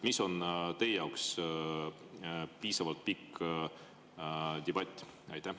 Mis on teie jaoks piisavalt pikk debatt?